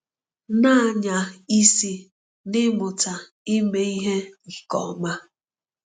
Na-anya isi n’ịmụta ime ihe nke ọma.